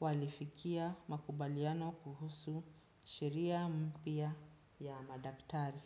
walifikia makubaliano kuhusu sheria mpia ya madaktari.